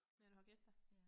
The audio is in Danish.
Når du har gæster